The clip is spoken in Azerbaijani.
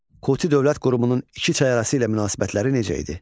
Kuti dövlət qrupunun iki çay arası ilə münasibətləri necə idi?